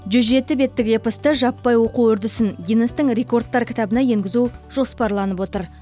жүз жеті беттік эпосты жаппай оқу үрдісін гиннестің рекордтар кітабына енгізу жоспарланып отыр